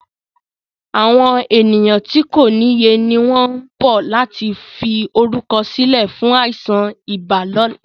Àwọn ènìyàn tí kòniye ni wọn ń bọ̀ láti fi orúkọ sílẹ̀ fún àìsàn ibà ni ọ̀la.